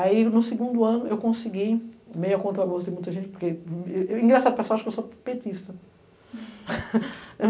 Aí, no segundo ano, eu consegui, meia contra bolsa, muita gente, porque, eu eu engraçado, o pessoal acha que eu sou petista.